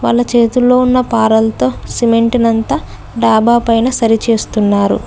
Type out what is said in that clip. వాళ్ళ చేతుల్లో ఉన్న పారలతో సిమెంట్ నంతా డాబా పైన సరి చేస్తున్నారు.